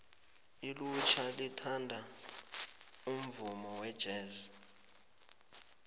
ilutjha lithanda umvumo wejesi